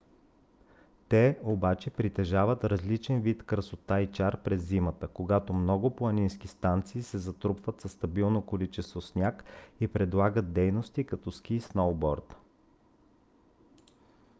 те обаче притежават различен вид красота и чар през зимата когато много планински станции се затрупват със стабилно количество сняг и предлагат дейности като ски и сноуборд